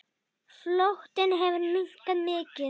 Flotinn hefur minnkað mikið.